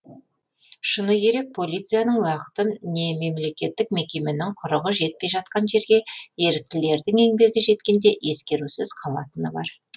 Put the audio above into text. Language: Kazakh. шыны керек полицияның уақыты не мемлекеттік мекеменің құрығы жетпей жатқан жерге еріктілердің еңбегі жеткенде ескерусіз қалатыны бар